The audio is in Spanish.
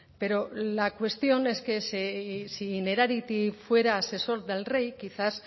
pero la cuestión es que si innerarity fuera asesor del rey quizás